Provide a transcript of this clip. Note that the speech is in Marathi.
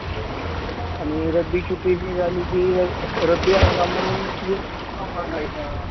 आणि रब्बीचं पीक की रब्बी हंगाम म्हणून विमा भरायचा.